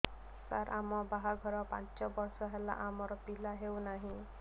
ସାର ଆମ ବାହା ଘର ପାଞ୍ଚ ବର୍ଷ ହେଲା ଆମର ପିଲା ହେଉନାହିଁ